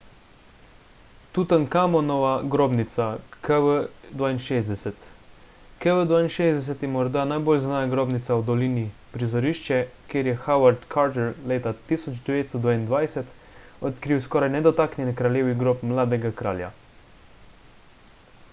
tutankamonova grobnica kv62. kv62 je morda najbolj znana grobnica v dolini prizorišče kjer je howard carter leta 1922 odkril skoraj nedotaknjen kraljevi grob mladega kralja